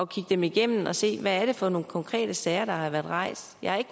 kigge dem igennem og se hvad det er for nogle konkrete sager der har været rejst jeg